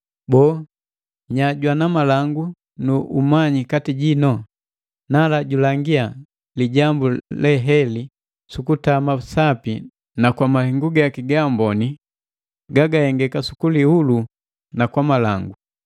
Boo, nya jwana malangu nu umanyi kati jino? Nala, julangia lijambu leheli sukutama sapi na kwa mahengu gaki gaamboni gagahengeka sukulihulua na kwa malangu.